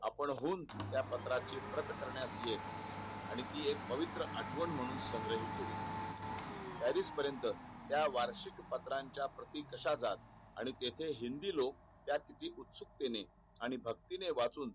आपणहून त्या पत्राची प्रत करन्यास येत आणि ती एक पवित्र आठवण म्ह्णून संग्रहित ठेवी चालीस पर्यंत त्या वार्षिक पत्राच्या प्रति कश्या जात आणि तेथे हिंदी लोक त्यात किती उत्सुकतेने आणि भंक्ति वाचनू